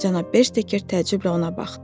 Cənab Bersteker təəccüblə ona baxdı.